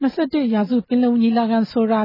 ၂၁ ရာစု ပင်လုံညီလာခံ ဆိုတာ